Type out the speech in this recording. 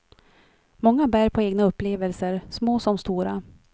Många bär på egna upplevelser, små som stora.